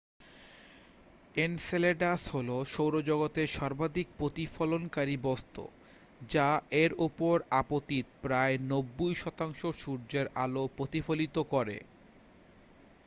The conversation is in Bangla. এনসেলেডাস হলো সৌরজগতের সর্বাধিক প্রতিফলনকারী বস্তু যা এর ওপর আপতিত প্রায় 90 শতাংশ সূর্যের আলো প্রতিফলিত করে